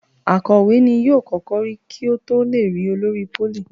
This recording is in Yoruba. Akòwé ní yóò kókó rí kò to lẹ rí olórí polí.